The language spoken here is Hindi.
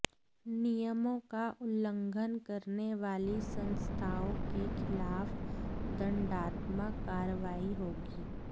नियमों का उल्लंघन करने वाली संस्थाओं के खिलाफ दंडात्मक कार्रवाई होगी